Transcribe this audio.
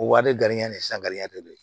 O wari di gɛrijɛ de san de don